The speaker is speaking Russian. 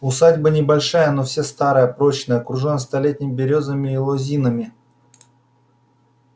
усадьба небольшая но вся старая прочная окружённая столетними берёзами и лозинами